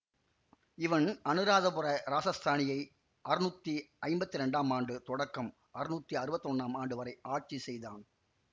இவன் அனுராதபுர இராசஸ்தானியை அறுநூத்தி ஐம்பத்தி இரண்டாம் ஆண்டு தொடக்கம் அறுநூத்தி அறுவத்தி ஒன்னாம் ஆண்டு வரை ஆட்சி செய்தான்